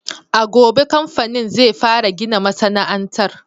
A gobe kamfanin zai fara gina masana'antar.